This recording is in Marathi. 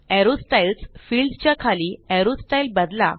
एरो स्टाईल्स फिल्ड च्या खाली ऐरो स्टाइल बदला